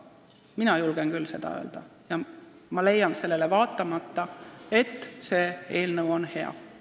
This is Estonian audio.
Ma julgen selle välja öelda ja leian sellele vaatamata, et eelnõu on hea.